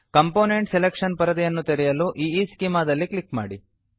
component selection ಪರದೆಯನ್ನು ತೆರೆಯಲು Eeschema ದಲ್ಲಿ ಕ್ಲಿಕ್ ಮಾಡಿ